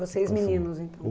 Vocês meninos, então?